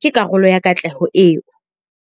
ke karolo ya katleho eo.